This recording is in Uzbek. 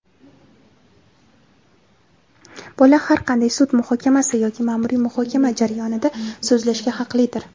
Bola har qanday sud muhokamasi yoki ma’muriy muhokama jarayonida so‘zlashga haqlidir.